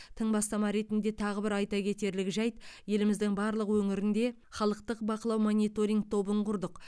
тың бастама ретінде тағы бір айта кетерлік жайт еліміздің барлық өңірінде халықтық бақылау мониторинг тобын құрдық